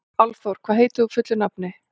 Álfþór, hvað heitir þú fullu nafni?